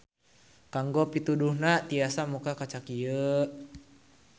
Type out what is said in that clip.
Kanggo pituduhna tiasa muka kaca ieu.